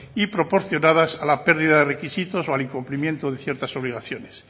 y proporcionadas a la pérdida de requisitos o al incumplimiento de ciertas obligaciones